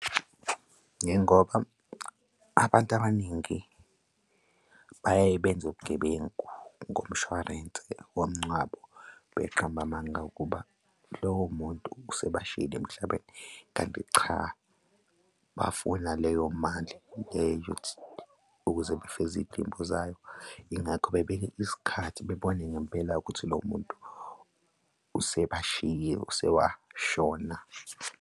Njengoba abantu abaningi bayaye benze ubugebengu ngomshwarense womngcwabo, beqamba amanga ukuba lowo muntu asebashiyile emhlabeni, kanti cha, bafuna leyo mali le yokuthi, ukuze bafeze iy'dingo zayo, ingakho beyibekele isikhathi bebone ngempela-ke ukuthi lowo muntu usebashiye usewashona.